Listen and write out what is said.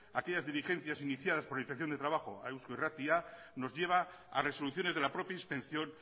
aquellas dirigencias iniciadas por la inspección de trabajo a eusko irratia nos lleva a resoluciones de la propia inspección